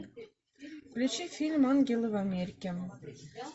включи фильм ангелы в америке